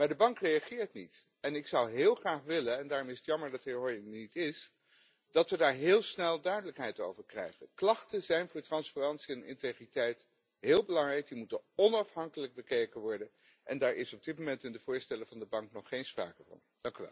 Maar de Bank reageert niet! Ik zou heel graag willen en daarom is het jammer dat de heer Hoyer er niet is dat we daar heel snel duidelijkheid over krijgen. Klachten zijn voor transparantie en integriteit heel belangrijk. Die moeten onafhankelijk bekeken worden en daar is op dit moment in de voorstellen van de Bank nog geen sprake van.